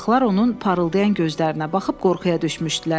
Uşaqlar onun parıldayan gözlərinə baxıb qorxuya düşmüşdülər.